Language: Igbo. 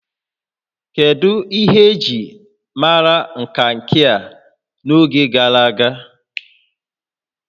Kedu ihe eji maara Kankia n'oge gara aga?